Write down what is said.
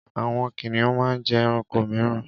Àwọn kìnnìún máa ń jẹ ẹranko mìíràn.